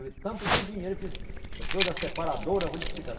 Eu vi tanto do dinheiro que eu trouxe da separadora, vou lhe explicar.